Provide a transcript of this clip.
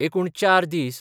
एकूण चार दीस